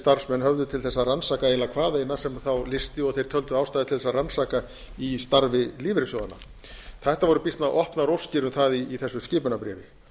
starfsmenn höfðu til þess að rannsaka eiginlega hvað eina sem þá lysti og þeir töldu ástæðu til þess að rannsaka í starfi lífeyrissjóðanna það voru býsna opnar óskir um það í þessu skipunarbréfi